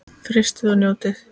Frystið og njótið.